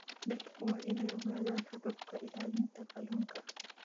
Dadku waa inay ogaadaan hababka ilaalinta kalluunka.